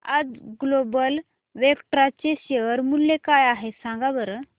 आज Global Vectra चे share मूल्य काय आहे सांगा बरं